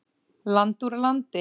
Land úr landi.